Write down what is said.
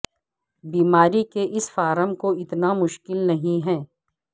بیماری کے اس فارم کو اتنا مشکل نہیں ہے